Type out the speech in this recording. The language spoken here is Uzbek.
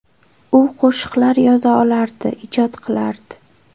U qo‘shiqlar yoza olardi, ijod qilardi.